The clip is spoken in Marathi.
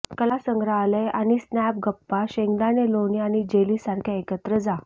कला संग्रहालये आणि स्नॅप गप्पा शेंगदाणा लोणी आणि जेली सारख्या एकत्र जा